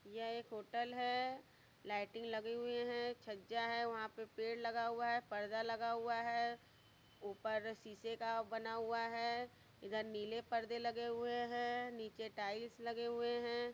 यह एक होटल है लाइटिंग लगी हुए है छज्जा है वहां पर पेड़ लगा हुआ हैपर्दा लगा हुआ है ऊपर शीशे का बना हुआ है इधर नीले परदे लगे हुए हैं नीचे टाइल्स लगे हुए हैं।